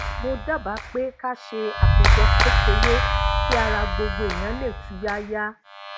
mo dábàá pé ká ṣe àpéjọ kékeré kí ara gbogbo èèyàn lè tuyaya